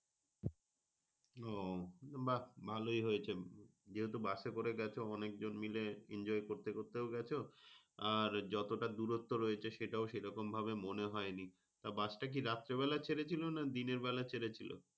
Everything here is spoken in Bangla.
ও বাহ ভালোই হয়েছে। যেহেতু bus এ করে গেছ অনেকজন মিলে enjoy করতে করতে ও গেছ। আর যতটা দূরত্ব রয়েছে সেটাও সেরকমভাবে মনে হয়নি। তা bus টা কি দিনের বেলায় ছেড়েছিল না নাকি রাতের বেলায়?